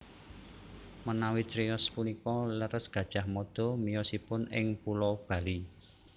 Menawi criyos punika leres Gajah Mada miyosipun ing pulo Bali